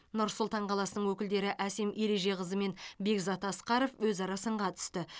нұр сұлтан қаласының өкілдері әсем ережеқызы мен бекзат асқаров өзара сынға түсті